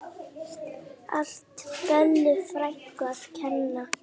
Allt Bellu frænku að kenna.